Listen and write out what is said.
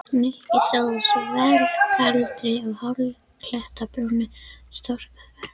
Nikki stóð á svellkaldri og hálli klettabrúninni og storkaði örlögunum.